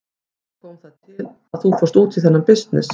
Hvernig kom það til að þú fórst út í þennan bisness?